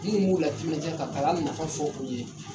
Minnu b'u latiminadiya ka kalan nafa fɔ u ye